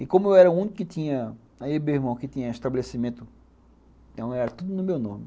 E como eu era o único que tinha, eu e o meu irmão, que tinha estabelecimento, então era tudo no meu nome.